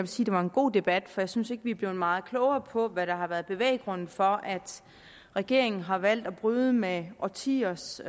sige det var en god debat for jeg synes ikke vi er blevet meget klogere på hvad der har været bevæggrunden for at regeringen har valgt at bryde med årtiers